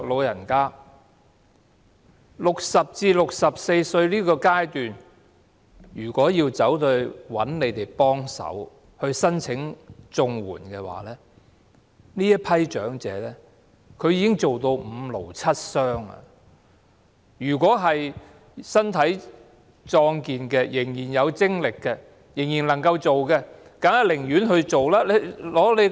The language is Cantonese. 如果60歲至64歲的人找我們幫忙申請綜合社會保障援助，這群長者其實已工作至五癆七傷；如果他們身體壯健，仍然有精力能夠工作，當然寧願工作。